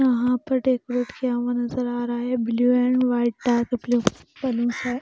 यहाँ पर डेकोरेट किया हुआ नज़र आ रहा है blue and white dark blue बलूनसर --